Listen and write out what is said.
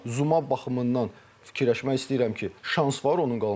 Amma Zuman baxımından fikirləşmək istəyirəm ki, şans var onun qalmağına.